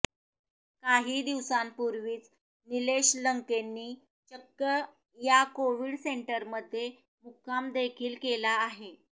काही दिवसांपूर्वीच निलेश लंकेंनी चक्क या कोविड सेंटरमध्ये मुक्कामदेखील केला आहे